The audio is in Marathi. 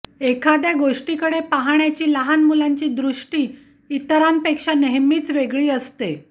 एखाद्या गोष्टीकडे पाहण्याची लहान मुलांची दृष्टी इतरांपेक्षा नेहमीच वेगळी असते